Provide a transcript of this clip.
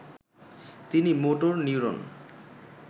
তিনি motor neuron